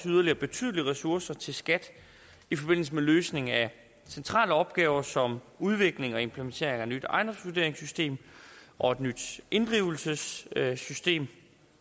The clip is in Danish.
yderligere betydelige ressourcer til skat i forbindelse med løsning af centrale opgaver som udvikling og implementering af et nyt ejendomsvurderingssystem og et nyt inddrivelsessystem